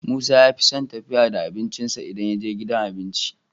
Musa yafison tafiya da abincin sa idan yaje gidan abinci